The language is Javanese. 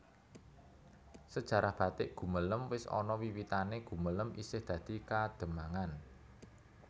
Sejarah batik Gumelem wis ana wiwitanè Gumelem isih dadi Kademangan